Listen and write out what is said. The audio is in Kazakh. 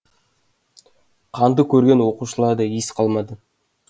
қанды көрген оқушыларда ес қалмады